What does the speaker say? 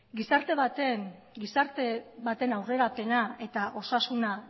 gizarte baten aurrerapena eta osasuna